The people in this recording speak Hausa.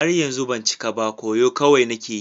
Har yanzu ban cika cika ba, koyo kawai nake yi.